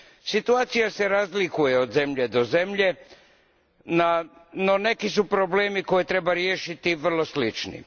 Situacija se razlikuje od zemlje do zemlje, no neki su problemi koje treba riješiti vrlo slični.